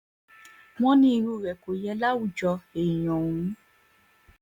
wọ́n ní irú rẹ̀ kò yẹ láwùjọ èèyàn òun o